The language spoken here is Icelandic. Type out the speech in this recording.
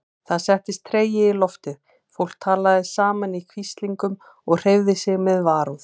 Það settist tregi í loftið, fólk talaði saman í hvíslingum og hreyfði sig með varúð.